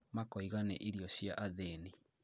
Makoiga nĩ irio cia athĩni